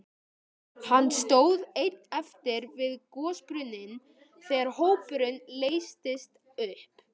Hann stóð einn eftir við gosbrunninn þegar hópurinn leystist upp.